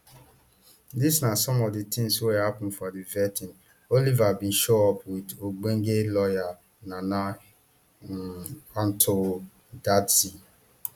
dis na some of di tins wia happun for di vetting oliver bin show up wit ogbonge lawyer nana um ato dadzie